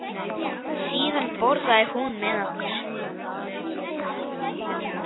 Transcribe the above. Síðan borðaði hún með okkur.